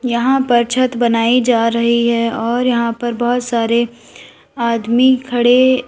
यहां पर छत बनाई जा रही है और यहां पर बहोत सारे आदमी खड़े--